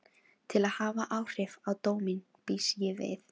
Til að hafa áhrif á dóminn býst ég við.